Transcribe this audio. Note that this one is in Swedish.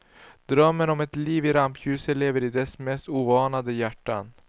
Drömmen om ett liv i rampljuset lever i dess mest oanade hjärtan.